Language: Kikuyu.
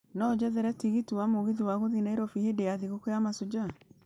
no ũnjethere tigiti wa mũgithi wa gũthiĩ Nairobi hĩndĩ ya thigũkũu ya mashujaa